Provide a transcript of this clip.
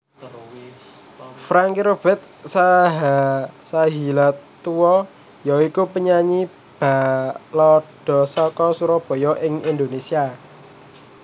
Franky Hubert Sahilatua ya iku penyanyi balada saka Surabaya Indonésia